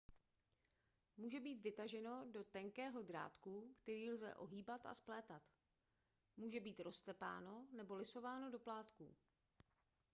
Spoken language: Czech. může být vytaženo do tenkého drátku který lze ohýbat a splétat může být roztepáno nebo lisováno do plátků